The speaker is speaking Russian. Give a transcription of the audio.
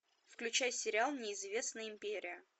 включай сериал неизвестная империя